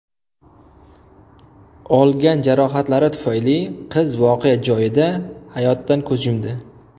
Olgan jarohatlari tufayli qiz voqea joyida hayotdan ko‘z yumdi.